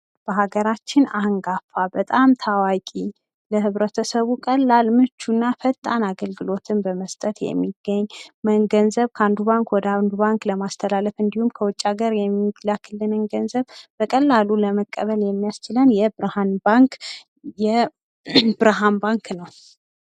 በሀገራችን አንንጋፋ በጣም ታዋቂ ለህብረተሰቡ ቀላል ፣ምቹ እና ፈጣን አግልግሎት በመስጠት የሚገኝ ገንዘብ ከአንዱ ባንክ ወደ አንዱ ባንክ እንዲሁም ከውጭ ሀገር የሚላክንን ገንዘብ በቀላሉ ለመቀበል የሚያስችለን የብርሀን ባንክ ነው።